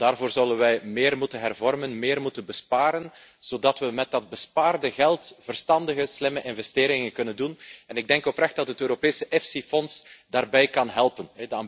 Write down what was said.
Maar daarvoor zullen we meer moeten hervormen, meer moeten besparen, zodat we met dat bespaarde geld verstandige, slimme investeringen kunnen doen. Ik denk oprecht dat het Europese EFSI fonds daarbij kan helpen.